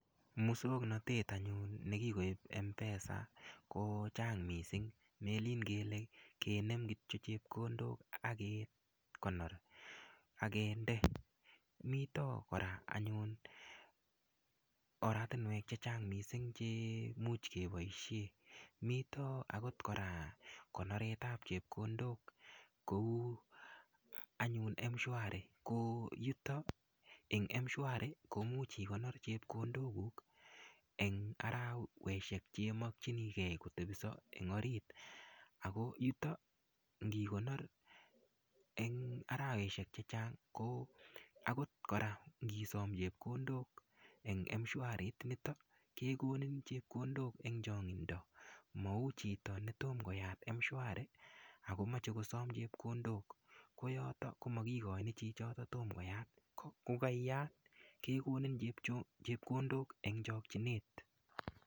Musoknotet anyun ne kikoip mpesa ko chang' missing' melen kotyo kinem chepkondok ak kekonor, ak kende. Amun mita kora anyun oratinwek che chang' missing' che much kepaishe. Mita agot kora konoretap chepkondok kou anyun mshwari ko yutok eng' mshwari ko much ikonor chepkondokuk eng' araweshek che imakchinigei kotepisa eng' orit ako yutok ngikonor eng' araweshek che chang' ko agot kora ngisam chepkondok en mshwari initok kekonik chepkondok eng' chang'inda. Ma u chito ne toma koyat mshwari oko mache kosam chepkondok. Ko yotok ko makikachin chichotok toma koyat. Ko kaiyat kekonin chepkondok eng' chakchinet.